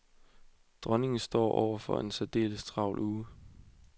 Dronningen og står over for en særdeles travl uge.